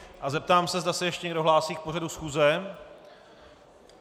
A zeptám se, zda se ještě někdo hlásí k pořadu schůze.